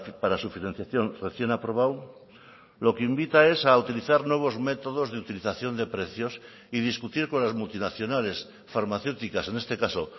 para su financiación recién aprobado lo que invita es a utilizar nuevos métodos de utilización de precios y discutir con las multinacionales farmacéuticas en este caso